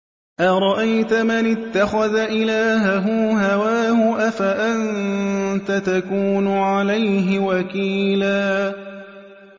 أَرَأَيْتَ مَنِ اتَّخَذَ إِلَٰهَهُ هَوَاهُ أَفَأَنتَ تَكُونُ عَلَيْهِ وَكِيلًا